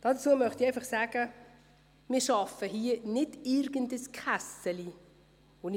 Dazu möchte ich einfach sagen, dass wir nicht irgendein «Kässeli» schaffen.